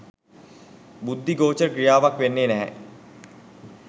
බුද්ධි ගෝචර ක්‍රියාවක් වෙන්නේ නැහැ.